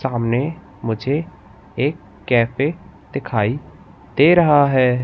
सामने मुझे एक कैफे दिखाई दे रहा है।